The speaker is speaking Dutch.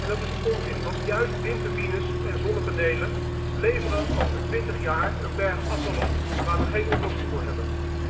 Dat is onzin, want juist windturbines en zonnepanelen leveren over 20 jaar een berg afval op waar we geen oplossing voor hebben.